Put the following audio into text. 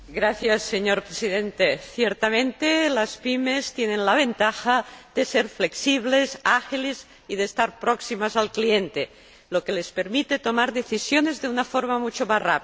Señor Presidente, ciertamente, las PYME tienen la ventaja de ser flexibles y ágiles y de estar próximas al cliente, lo que les permite tomar decisiones de una forma mucho más rápida.